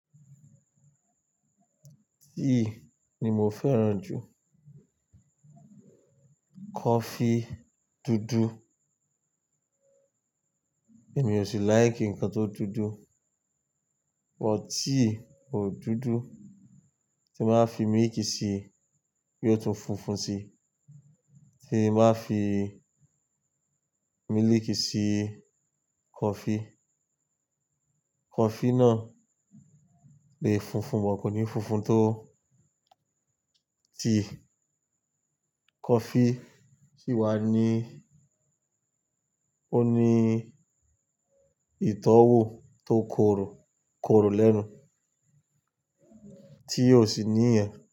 Tíì ni mo fẹ́ràn jù. Kọfí dúdú èmi ò sí like ǹkan tó dúdú. But tíì ò dúdú tí máa fi mílìkì sí bí ó tó funfun sí, tí máa fi mílìkì sí coffee, coffee náà lè funfun, but kò ní funfun tó tí coffee sì wà ní ó ní ìtọ́wò tó korò, korò lẹ́nu tí ò sì ní ìyàn.